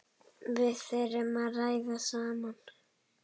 Við þurfum að ræða saman.